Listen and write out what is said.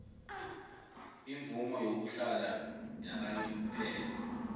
imvumo yokuhlala yakanomphela